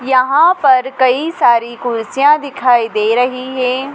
यहां पर कई सारी कुर्सियां दिखाई दे रही हैं।